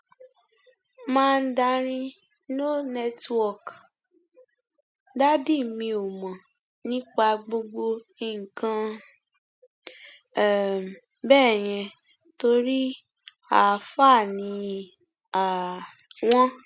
mandarin no network dádì mi ò mọ nípa gbogbo nǹkan um bẹẹ yẹn torí àáfàá ni um wọn